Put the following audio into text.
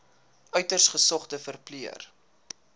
uiters gesogde verpleër